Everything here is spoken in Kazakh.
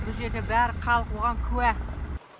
бұл жерде бәрі халық оған куә